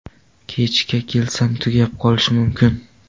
Kechga kelsam, tugab qolishi mumkin.